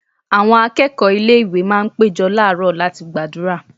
Àwọn akẹ́kọ̀ọ́ ilé-ìwé máa ń péjọ làárọ̀ láti gbàdúrà.